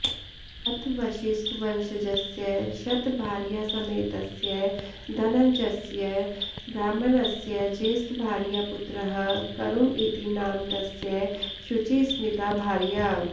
अथ वसिष्ठवंशजस्य शतभार्यासमेतस्य धनञ्जयस्य ब्राह्मणस्य ज्येष्ठभार्यापुत्रः करुण इति नाम तस्य शुचिस्मिता भार्या